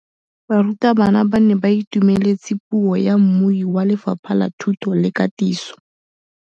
Barutabana ba ne ba itumeletse puô ya mmui wa Lefapha la Thuto le Katiso.